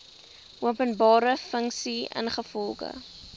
openbare funksie ingevolge